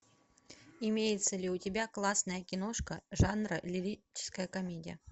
имеется ли у тебя классная киношка жанра лирическая комедия